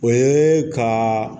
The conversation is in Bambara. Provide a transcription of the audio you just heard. O ye ka